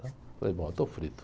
Falei, bom, eu estou frito.